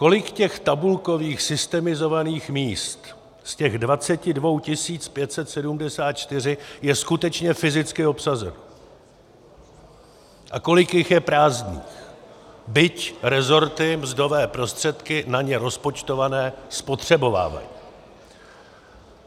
Kolik těch tabulkových systemizovaných míst z těch 22 574 je skutečně fyzicky obsazeno a kolik jich je prázdných, byť rezorty mzdové prostředky na ně rozpočtované spotřebovávají?